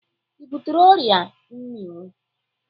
Ị butere ọrịa mminwụ?